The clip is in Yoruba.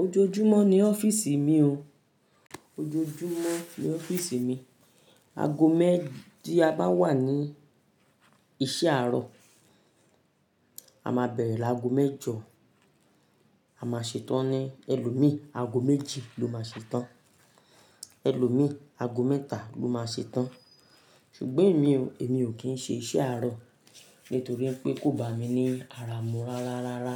Ojoojúmọ́ ní ọ́fíìsì mi o. Ojoojúmọ́ ní ọ́fíìsì mi, ago mẹ́dí a bá wà ní iṣẹ́ àárọ̀, a máa bẹ̀rẹ̀ lágo mẹ́jọ, a máa ṣe tán ní ẹlòmíì, ago méjì ló máa ṣe tán. Ẹlòmíì, ago mẹ́ta ló máa ṣe tán. Ṣùgbọ́n èmi o, èmi ò kí ń ṣe iṣẹ́ àárọ̀ nítorí pé kò bá mi ní ara mú rárá rárá.